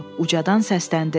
Ucadan səsləndi: